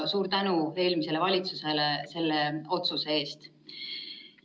Suur tänu eelmisele valitsusele selle otsuse eest!